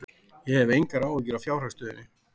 Ég hef engar áhyggjur af fjárhagsstöðunni.